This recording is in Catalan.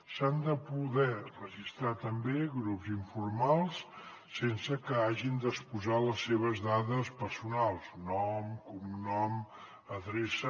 s’han de poder registrar també grups informals sense que hagin d’exposar les seves dades personals nom cognom adreça